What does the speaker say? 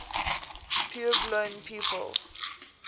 puebloan peoples